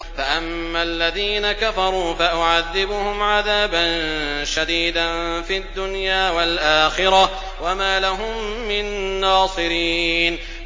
فَأَمَّا الَّذِينَ كَفَرُوا فَأُعَذِّبُهُمْ عَذَابًا شَدِيدًا فِي الدُّنْيَا وَالْآخِرَةِ وَمَا لَهُم مِّن نَّاصِرِينَ